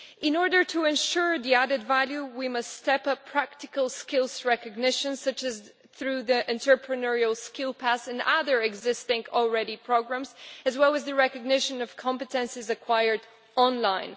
In order to ensure the added value we must step up practical skills recognition such as through the Entrepreneurial Skill Pass and other existing programmes, as well as the recognition of competences acquired online.